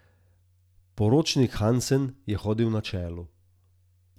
Poročnik Hansen je hodil na čelu.